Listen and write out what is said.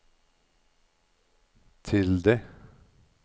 tilde